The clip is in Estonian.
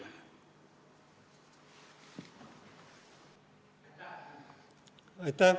Aitäh!